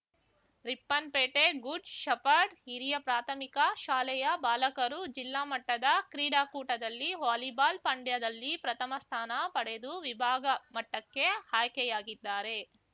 Ripponpet good shepherd ಹಿರಿಯ ಪ್ರಾಥಮಿಕ ಶಾಲೆಯ ಬಾಲಕರು ಜಿಲ್ಲಾ ಮಟ್ಟದ ಕ್ರೀಡಾಕೂಟದಲ್ಲಿ ವಾಲಿಬಾಲ್‌ ಪಂದ್ಯದಲ್ಲಿ ಪ್ರಥಮಸ್ಥಾನ ಪಡೆದು ವಿಭಾಗಮಟ್ಟಕ್ಕೆ ಆಯ್ಕೆಯಾಗಿದ್ದಾರೆ